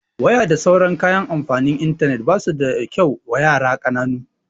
Waya da sauran kayan amfani da intanet basu da kyau wa yara ƙananu